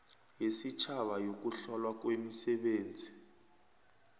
yesitjhaba yokuhlolwa kwemisebenzi